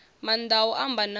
maanḓa a u amba na